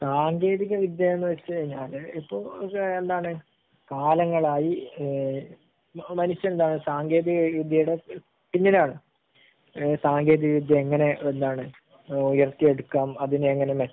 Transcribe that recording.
സാങ്കേന്തിക വിദ്യ എന്ന് വെച്ച് കഴിഞ്ഞാൽ ഇപ്പൊ എന്താണ് കാലങ്ങളായി ഏഹ് മനുഷ്യൻ ആഹ് മനുഷ്യൻ ആഹ് ഒരു സാങ്കേന്തിക വിദ്യയുടെ പിന്നിലാണ്. ഏഹ് സാങ്കേന്തിക വിദ്യ എങ്ങനെ എന്താണ് ഏഹ് ഉയർത്തി എടുക്കാം അതിനെ എങ്ങനെ